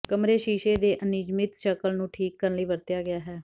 ਕਮਰੇ ਸ਼ੀਸ਼ੇ ਦੇ ਅਨਿਯਮਿਤ ਸ਼ਕਲ ਨੂੰ ਠੀਕ ਕਰਨ ਲਈ ਵਰਤਿਆ ਗਿਆ ਹੈ